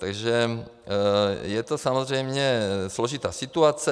Takže je to samozřejmě složitá situace.